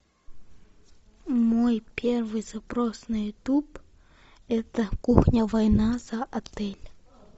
мой первый запрос на ютуб это кухня война за отель